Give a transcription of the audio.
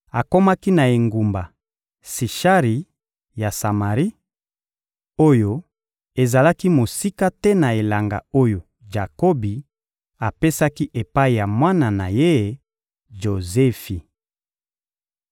akomaki na engumba Sishari ya Samari, oyo ezalaki mosika te na elanga oyo Jakobi apesaki epai ya mwana na ye, Jozefi.